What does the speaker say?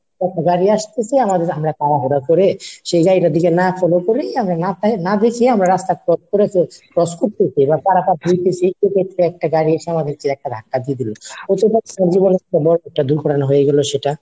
একটা গাড়ি আসতেসে আর আমরা তাড়াহুড়া করে সোজা এটার দিকে না follow করে না তাকিয়ে না দেখেই আমরা রাস্তা cross করে ফেলছি, cross করতে গিয়ে পারাপার করতেছি slip করতে একটা গাড়ি এসে আমাদের একটা ধাক্কা দিয়ে গেলো, একটা দুর্ঘটনা হয়ে গেলো সেটা।